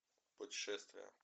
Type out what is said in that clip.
путешествие